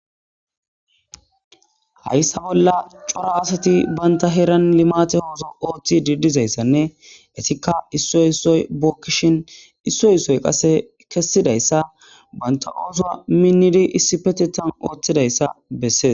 Hayssa bolla cora asati banta heeran limate ooso ooththi didizayssanne etikka issoy issoy bookkishin issoy issoy qase kessidayssa banta ooso minnidi issi petetan ooththidayssa bessees